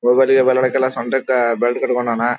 ಹೋಗೋದಿಕ್ಕೆ ಬರೋದಿಕ್ಕೆ ಎಲ್ಲ ಸೊಂಟಕ್ಕೆ ಬೆಲ್ಟ್ ಕಟ್ಕೊಂಡಾನ.